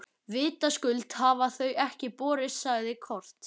Vitaskuld hafa þau ekki borist, sagði Kort.